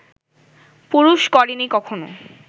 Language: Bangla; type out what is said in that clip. পুরুষ করেনি কখনও